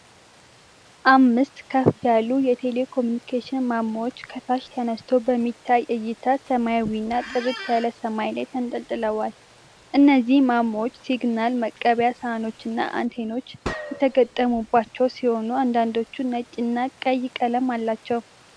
አምስት ከፍ ያሉ የቴሌኮሙኒኬሽን ማማዎች ከታች ተነስቶ በሚታይ ዕይታ ሰማያዊውና ጥርት ያለው ሰማይ ላይ ተንጠልጥለዋል። እነዚህ ማማዎች ሲግናል መቀበያ ሳህኖችና አንቴናዎች የተገጠሙላቸው ሲሆን፤ አንዳንዶቹም ነጭ እና ቀይ ቀለም አላቸው።